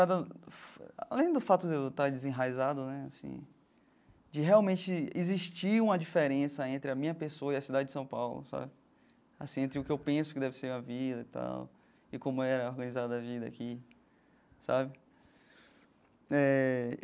Além do fato de eu estar desenraizado né assim, de realmente existir uma diferença entre a minha pessoa e a cidade de São Paulo sabe, assim entre o que eu penso que deve ser a vida e tal, e como era organizada a vida aqui sabe eh.